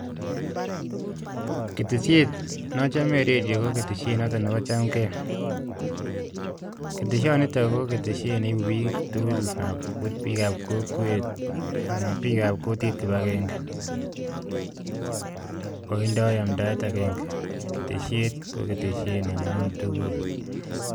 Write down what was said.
Ketesiet nachomei en redio ko chamgei, keteshonitok koibu bik kipagenge ak kokwet, keteshet Nebo amdaet agenge